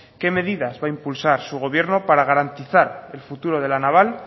qué medidas va a impulsar su gobierno para garantizar el futuro de la naval